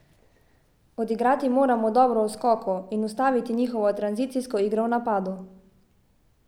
Odigrati moramo dobro v skoku in ustaviti njihovo tranzicijsko igro v napadu.